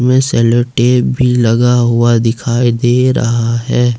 में sellotape भी लगा हुआ दिखाई दे रहा है।